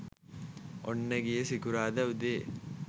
ඔන්න ගිය සිකුරාදා උදේ